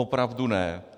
Opravdu ne.